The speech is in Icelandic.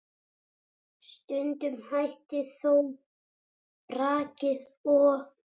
Stundum hættir þó brakið og